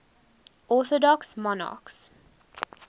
orthodox monarchs